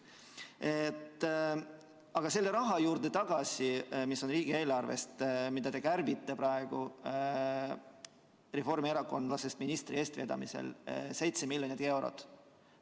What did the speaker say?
Aga tulen tagasi selle raha juurde, mis tuleb riigieelarvest ja mida te kärbite praegu reformierakondlasest ministri eestvedamisel 7 miljonit eurot.